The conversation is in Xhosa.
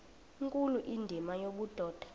nkulu indima yobudoda